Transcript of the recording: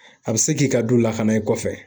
A bɛ se k'i ka du lakana i kɔfɛ.